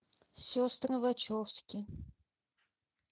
сестры вачовски